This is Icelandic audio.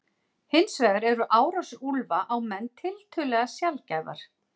Hins vegar eru árásir úlfa á menn tiltölulega sjaldgæfar.